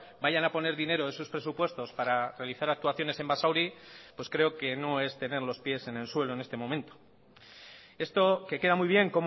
vayan a poner dinero de sus presupuestos para realizar actuaciones en basauri pues creo que no es tener los pies en el suelo en este momento esto que queda muy bien